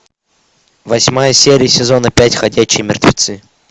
восьмая серия сезона пять ходячие мертвецы